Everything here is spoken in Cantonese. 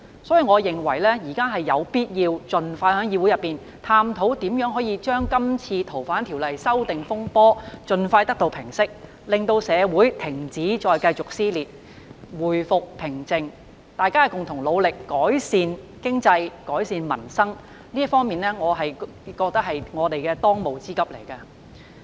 所以，我認為現在有必要盡快在議會內探討如何平息這次修訂《逃犯條例》的風波，令社會停止撕裂，回復平靜，大家共同努力改善經濟及民生，我認為這是我們的當務之急。